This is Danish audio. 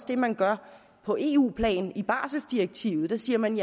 det man gør på eu plan i barseldirektivet der siger man